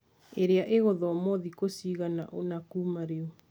Ĩrĩa ĩgũthomwo thikũ cigana ũna kuuma rĩu.